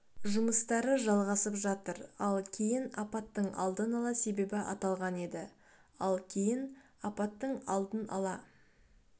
жұмыстары жалғасып жатыр ал кейін апаттың алдын ала себебі аталған еді ал кейін апаттыңалдын ала